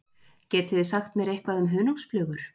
Getið þið sagt mér eitthvað um hunangsflugur?